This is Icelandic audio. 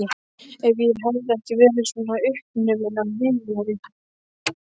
Ef ég hefði ekki verið svona uppnumin af Viðari.